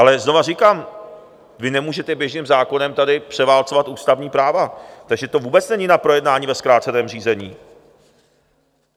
Ale znova říkám, vy nemůžete běžným zákonem tady převálcovat ústavní práva, takže to vůbec není na projednání ve zkráceném řízení.